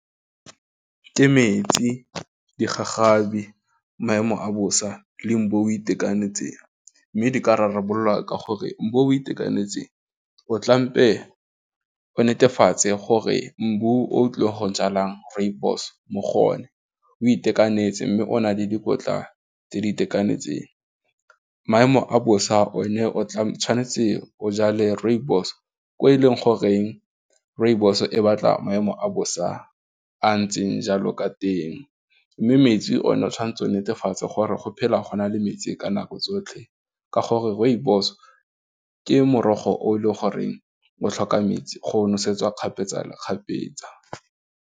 Ke metsi, digagabi, maemo a bosa, le mbu o itekanetseng, mme dika rarabololwa ka gore, o tlampe o netefatse gore mbu o tlileng go jalang rooibos mo go o ne o itekanetse mme o na le dikotla tse di itekanetseng, maemo a bosa o ne o tshwanetse o jale rooibos ko e leng goreng rooibos e batla maemo a bosa a ntseng jalo ka teng, mme metsi o ne o tshwantse o netefatse gore go phela go na le metsi ka nako tsotlhe ka gore rooibos ke morogo o e le goreng o tlhoka metsi go nosetsa kgapetsa le kgapetsa.